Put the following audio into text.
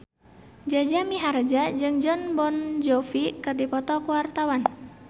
Jaja Mihardja jeung Jon Bon Jovi keur dipoto ku wartawan